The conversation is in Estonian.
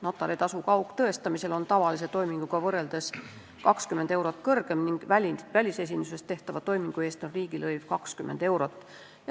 Notaritasu kaugtõestamisel on tavalise toiminguga võrreldes 20 eurot kõrgem ning välisesinduses tehtava toimingu eest on riigilõiv 20 eurot.